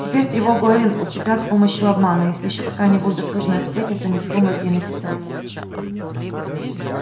теперь тревогу эллин усыпят с помощью обмана если ещё какая-нибудь досужая сплетница не вздумает ей написать